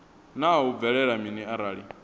naa hu bvelela mini arali